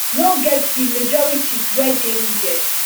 no get di majorities wey dey needed